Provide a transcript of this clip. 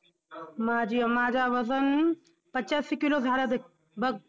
माझी~माझं वजन पचासी kilo झालं देख बघ.